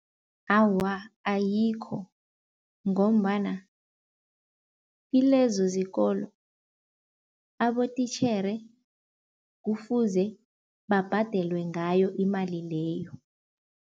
Awa, ayikho ngombana kilezo zikolo abotitjhere kufuze babhadelwe ngayo imali leyo.